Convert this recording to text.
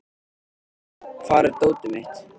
Laugey, hvar er dótið mitt?